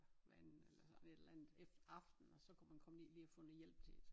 Hver anden eller sådan et eller andet aften og så kunne man komme ned lige og få noget hjælp til det